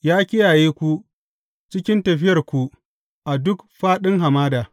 Ya kiyaye ku cikin tafiyarku a duk fāɗin hamada.